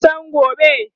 waya San gobe?